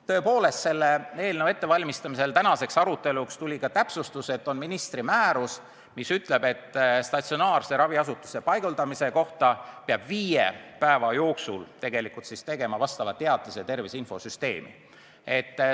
Tõepoolest, selle päevakorrapunkti ettevalmistamisel tänaseks aruteluks tuli ka täpsustus, et on ministri määrus, mis ütleb, et statsionaarsesse raviasutusse paigutamise kohta peab viie päeva jooksul tegema sissekande tervise infosüsteemi.